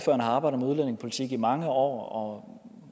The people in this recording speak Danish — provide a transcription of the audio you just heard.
har arbejdet med udlændingepolitik i mange år